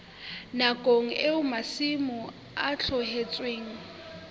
nakong eo masimo a tlohetsweng